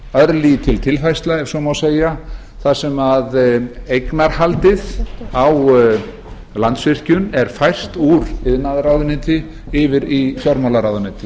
örlítil tilfærsla ef svo má segja þar sem eignarhaldið á landsvirkjun er fært úr iðnaðarráðuneyti yfir í fjármálaráðuneyti